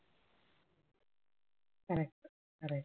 correct correct